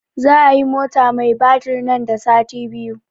Za a yi mota mai batir nan da sati biyu